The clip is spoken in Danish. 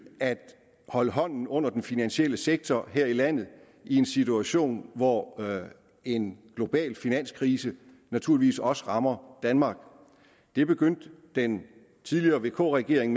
at holde hånden under den finansielle sektor her i landet i en situation hvor en global finanskrise naturligvis også rammer danmark det begyndte den tidligere vk regering